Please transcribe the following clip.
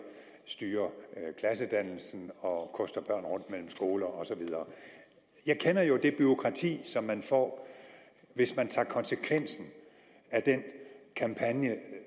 styrer klassedannelsen og koster børn rundt mellem skoler og så videre jeg kender jo det bureaukrati som man får hvis man tager konsekvensen af den kampagne